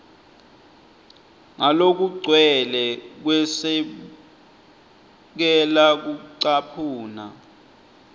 ngalokugcwele kwesekela kucaphuna